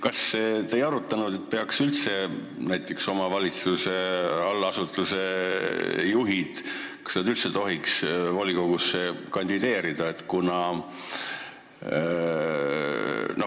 Kas te ei arutanud, et kas näiteks omavalitsuse allasutuse juhid üldse tohiks volikogusse kandideerida?